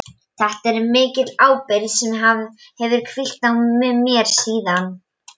Þetta er mikil ábyrgð sem hefur hvílt á mér síðan.